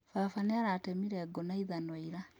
Baba nĩaratemire ngũ na ithanwa ira?